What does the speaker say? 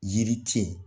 Yiri te yen